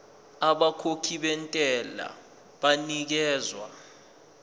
abakhokhi bentela banikezwa